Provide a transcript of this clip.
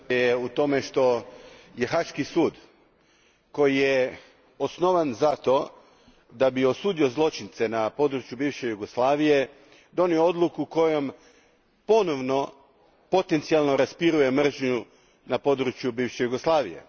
Gospodine predsjedniče, je u tome što je Haški sud koji je osnovan za to da bi osudio zločince na području bivše Jugoslavije, donio odluku kojom ponovno potencijalno raspiruje mržnju na području bivše Jugoslavije.